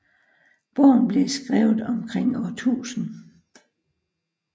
Bogen blev skrevet omkring år 1000